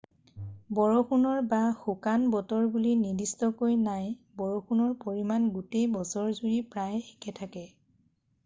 """বৰষুণ""ৰ বা "শুকান" বতৰ বুলি নিৰ্দিষ্টকৈ নাই: বৰষুণৰ পৰিমাণ গোটেই বছৰজুৰি প্ৰায় একে থাকে।""